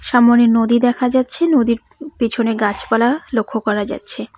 সামনে নদী দেখা যাচ্ছে নদীর প পিছনে গাছপালা লক্ষ্য করা যাচ্ছে।